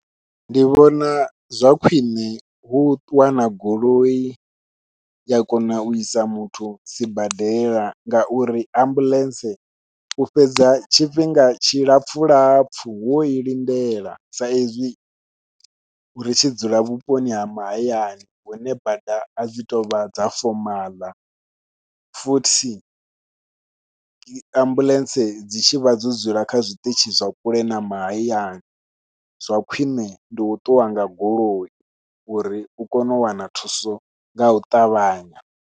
Ndi vhona zwa khwiṋe hu wana goloi ya kona u isa muthu sibadela ngauri ambuḽentse u fhedza tshifhinga tshi lapfhu lapfhu wo i lindela, sa izwi ri tshi dzula vhuponi ha mahayani hune bada adzi tovha dza fomaḽa futhi dzi ambuḽentse dzi tshi vha dzo dzula kha zwiṱitshi zwa kule na mahayani zwa khwiṋe ndi u ṱuwa nga goloi uri u kone u wana thuso ngau ṱavhanya.